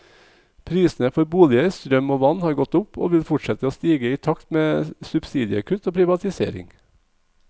Prisene for boliger, strøm og vann har gått opp, og vil fortsette å stige i takt med subsidiekutt og privatisering.